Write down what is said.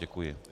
Děkuji.